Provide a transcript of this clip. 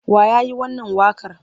Wa ya yi wannan waƙar?